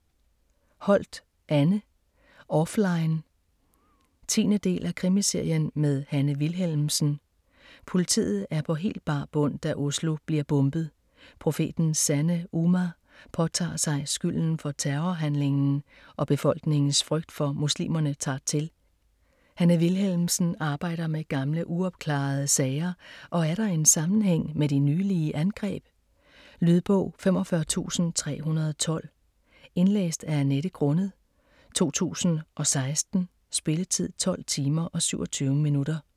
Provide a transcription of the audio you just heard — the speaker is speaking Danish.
Holt, Anne: Offline 10. del af Krimiserien med Hanne Wilhelmsen. Politiet er helt på bar bund, da Oslo bliver bombet. Profetens Sande Ummah påtager sig skylden for terrorhandlingen og befolkningens frygt for muslimerne tager til. Hanne Wilhelmsen arbejder med gamle uopklarede sager og er der en sammenhæng med de nylige angreb? Lydbog 45312 Indlæst af Annette Grunnet, 2016. Spilletid: 12 timer, 27 minutter.